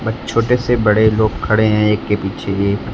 छोटे से बड़े लोग खड़े हैं एक के पीछे एक।